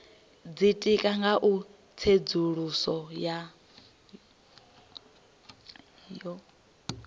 ditika nga u tsedzuluso yo